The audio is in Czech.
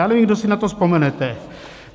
Já nevím, kdo si na to vzpomenete.